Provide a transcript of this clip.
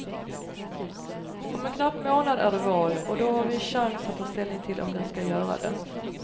Om en knapp månad är det val, och då har vi chans att ta ställning till om den ska göra det.